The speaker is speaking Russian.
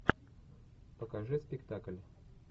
покажи спектакль